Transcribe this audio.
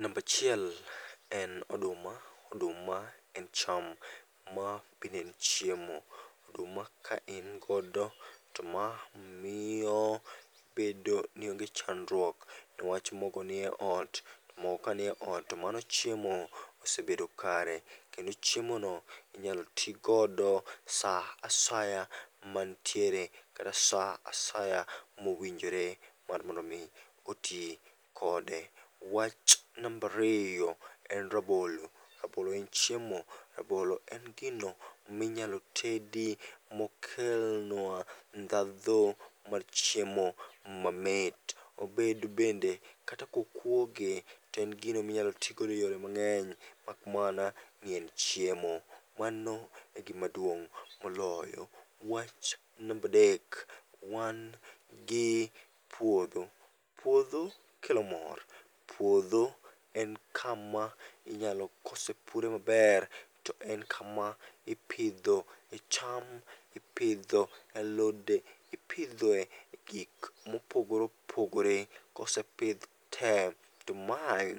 Nambachiel en oduma, oduma en cham ma be en chiemo. Oduma ka in godo to ma miyo bedo ni onge chandruok newach mogo niye ot, mogo ka niye ot to mano chiemo osebedo kare. Kendo chiemo no inyalo tigodo sa asaya mantiere, kata sa asaya mowinjore mar mondo mi oti kode. Wach nambariyo en rabolo, rabolo en chiemo, rabolo en gino minyalo tedi mokelnwa ndhadho mar chiemo mamit. Obed bende kata kokuoge toen gino minyal tigodo e yore mang'eny mak mana ni en chiemo. Mano e gima duong' moloyo. Wach nambadek, wan gi puodho. Puodho kelo mor, puodho en kama inyalo kosepure maber, to en kama ipidho e cham, ipidho alode, ipidhoe gik mopogore opogore. Kosepidh te, to mae